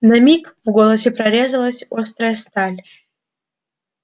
на миг в голосе прорезалась острая сталь